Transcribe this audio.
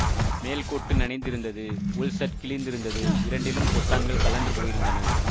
மேல் கோட்டு நனைந்திருந்தது உள் ஷர்ட் கிழிந்திருந்தது இரண்டிலும் பொத்தானகள் கழன்று போயிருந்தன